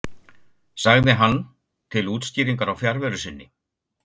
sagði hann til útskýringar á fjarveru sinni.